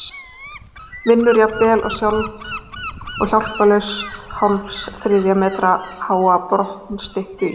Vinnur jafnvel sjálf og hjálparlaust hálfs þriðja metra háa bronsstyttu í